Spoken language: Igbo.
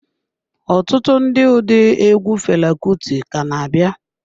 Ọtụtụ ndị ụdị egwu Fela Kuti ka na-abịa.